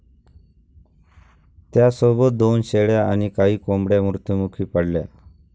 त्यासोबत दोन शेळ्या आणि काही कोंबड्या मृत्यूमुखी पडल्या.